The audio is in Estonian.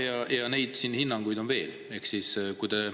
" Ja neid hinnanguid on veel, eks.